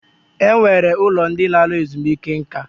E nwere ụlọ ndị lara ezumike nká.